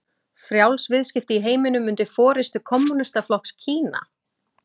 Frjáls viðskipti í heiminum undir forystu kommúnistaflokks Kína?